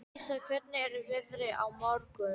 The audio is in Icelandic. Alísa, hvernig er veðrið á morgun?